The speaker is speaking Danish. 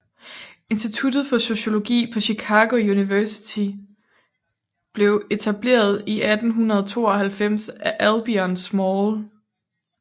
Institut for Sociologi på Chicago Universitet blev etableret i 1892 af Albion Small